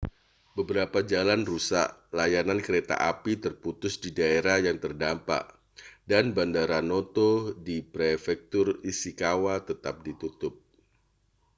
beberapa jalan rusak layanan kereta api terputus di daerah yang terdampak dan bandara noto di prefektur ishikawa tetap ditutup